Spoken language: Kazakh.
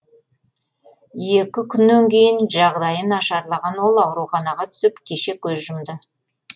екі күннен кейін жағдайы нашарлаған ол ауруханаға түсіп кеше көз жұмды